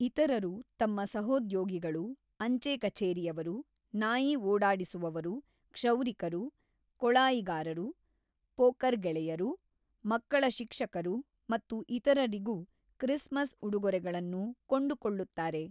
ಇತರರು ತಮ್ಮ ಸಹೋದ್ಯೋಗಿಗಳು, ಅಂಚೆ ಕಛೇರಿಯವರು, ನಾಯಿ ಓಡಾಡಿಸುವವರು, ಕ್ಷೌರಿಕರು, ಕೊಳಾಯಿಗಾರರು, ಪೋಕರ್ ಗೆಳೆಯರು, ಮಕ್ಕಳ ಶಿಕ್ಷಕರು ಮತ್ತು ಇತರರಿಗೂ ಕ್ರಿಸ್ಮಸ್ ಉಡುಗೊರೆಗಳನ್ನು ಕೊಂಡುಕೊಳ್ಳುತ್ತಾರೆ.